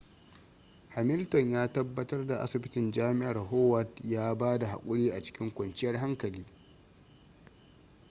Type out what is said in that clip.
hamilton ya tabbatar da asibitin jami'ar howard ya ba da haƙuri a cikin kwanciyar hankali